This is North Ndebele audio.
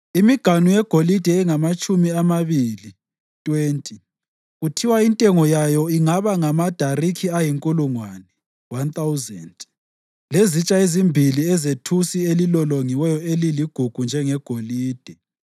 imiganu yegolide engamatshumi amabili (20) kuthiwa intengo yayo ingaba ngamadariki ayinkulungwane (1,000), lezitsha ezimbili ezethusi elilolongiweyo eliligugu njengegolide.